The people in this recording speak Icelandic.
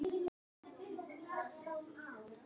Út af litnum?